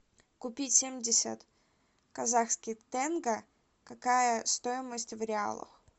купить семьдесят казахских тенге какая стоимость в реалах